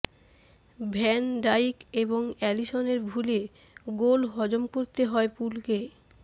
van Dijk এবং অ্যালিসনের ভুলে গোল হজম করতে হয় পুলকে